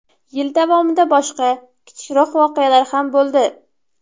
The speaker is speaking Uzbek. Yil davomida boshqa, kichikroq voqealar ham bo‘ldi.